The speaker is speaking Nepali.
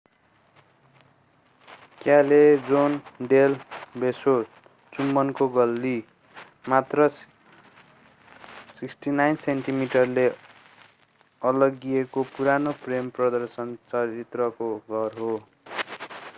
क्यालेजोन डेल बेसो चुम्बनको गल्ली। मात्र 69 सेन्टिमिटरले अलग्गिएको पुरानो प्रेम आदर्श चरित्रको घर हो।